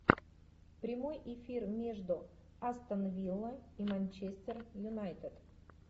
прямой эфир между астон вилла и манчестер юнайтед